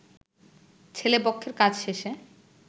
ছেলে পক্ষের কাজ শেষে